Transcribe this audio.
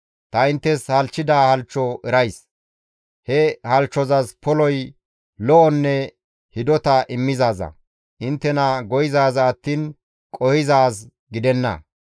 Ta inttes halchchida halchcho erays; he halchchozas poloy lo7onne hidota immizaaza, inttena go7izaaza attiin qohizaaz gidenna.